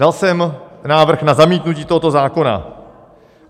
Dal jsem návrh na zamítnutí tohoto zákona.